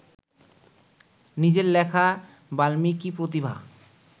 নিজের লেখা বাল্মীকিপ্রতিভা